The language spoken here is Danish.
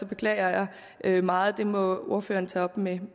beklager jeg meget det må ordføreren tage op med